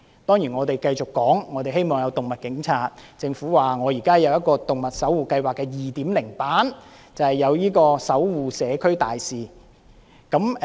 當然我們繼續要求增設動物警察，政府則表示現時有一個動物守護計劃的 2.0 版，即"動物守護社區大使"。